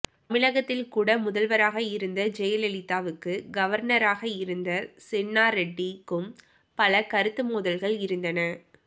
தமிழகத்தில் கூட முதல்வராக இருந்த ஜெயலலிதாவுக்கு கவர்னராக இருந்த சென்னாரெட்டிக்கும் பல கருத்து மோதல்கள் இருந்தன